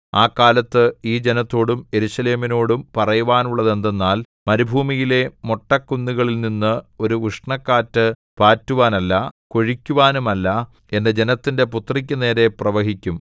ആ കാലത്ത് ഈ ജനത്തോടും യെരൂശലേമിനോടും പറയുവാനുള്ളതെന്തെന്നാൽ മരുഭൂമിയിലെ മൊട്ടക്കുന്നുകളിൽനിന്ന് ഒരു ഉഷ്ണക്കാറ്റ് പാറ്റുവാനല്ല കൊഴിക്കുവാനുമല്ല എന്റെ ജനത്തിന്റെ പുത്രിക്കു നേരെ പ്രവഹിക്കും